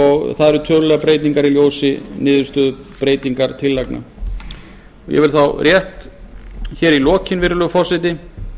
og það eru tölulegar breytingar í ljósi niðurstöðu breytingartillagna ég vil þá rétt í lokin virðulegur forseti